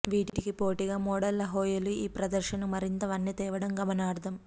వీటికి పోటీగా మోడళ్ల హొయలు ఈ ప్రదర్శనకు మరింత వన్నె తేవడం గమనార్హం